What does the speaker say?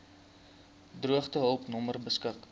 droogtehulp nommer beskik